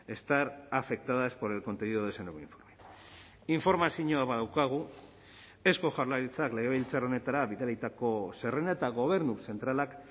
estar afectadas por el contenido de ese nuevo informe informazioa badaukagu eusko jaurlaritzak legebiltzar honetara bidalitako zerrenda eta gobernu zentralak